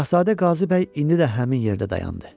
Şahzadə Qazı bəy indi də həmin yerdə dayandı.